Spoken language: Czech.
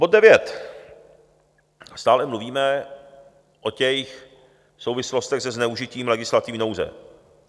Bod 9 - stále mluvíme o těch souvislostech se zneužitím legislativní nouze.